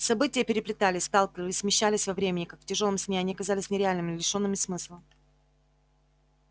события переплетались сталкивались смещались во времени как в тяжёлом сне они казались нереальными лишёнными смысла